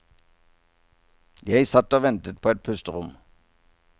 Jeg satt og ventet på et pusterom.